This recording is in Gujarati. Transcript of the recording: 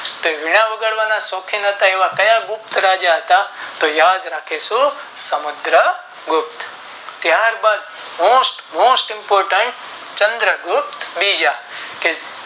તે વીણા વગાડવાના શોખીન હતા તે કયા રાજા હતા તો યાદ રાખીશું સમુદ્ર ગુપ્ત ત્યાર બાદ Most most important Chandra Gupta બીજા તે